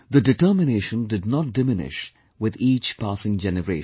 The determination did not diminish with each passing generation